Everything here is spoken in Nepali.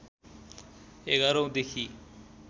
११ औं देखि